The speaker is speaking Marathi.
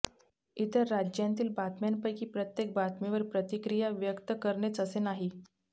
इतर राज्यांतील बातम्यांपैकी प्रत्येक बातमीवर प्रतिक्रिया व्यक्त करेनच असे नाही